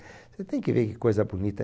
Você tem que ver que coisa bonita.